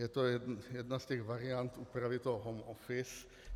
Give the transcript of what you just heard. Je to jedna z těch variant úpravy home office.